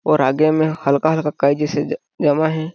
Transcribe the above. और आगे में हल्का -हल्का काई जैसा जमा हैं।